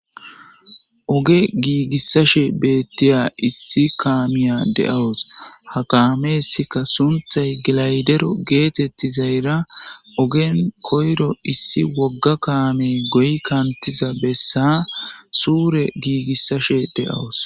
Ige giigissashe beettiya issi kaamiya de7awus. Ha kaamessika sunthay gilaydero geetettizayra ogen koyro issi wogga kaame goyi kantiza bessa suure giigissashe de7awus.